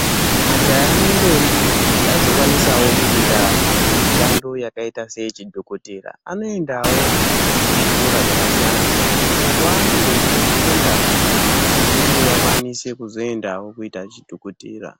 Majaha nendombi kuti azokwanisawo kuita mishando yakaita seyechidhokodheya, aoendawo kuzvikora zvakasiyana siyana uko kwaanozondofunda zvekuti vakwanise kuzoendawo kuita chidhokotera.